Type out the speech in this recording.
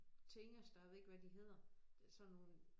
Tingester jeg ved ikke hvad de hedder sådan nogle